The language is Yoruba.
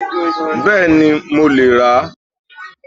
Bẹ́ẹ̀ni mo lè ran